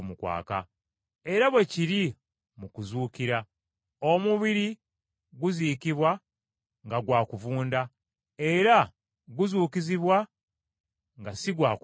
Era bwe kiri mu kuzuukira. Omubiri guziikibwa nga gwa kuvunda, ne guzuukizibwa nga si gwa kuvunda.